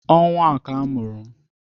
Ọnwa a ka a mụrụ m